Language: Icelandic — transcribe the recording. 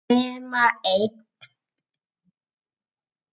Nema einn.